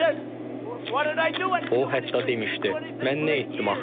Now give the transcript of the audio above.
O hətta demişdi, mən nə etdim axı?